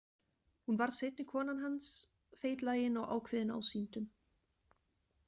Hún varð seinni kona hans, feitlagin og ákveðin ásýndum.